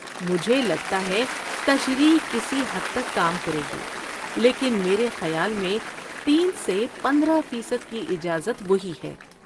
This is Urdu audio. مجھے لگتا ہے تشریح کسی حد تک کام کرے گی، لیکن میرے خیال میں تین سے پندرہ فیصد کی اجازت وہی ہے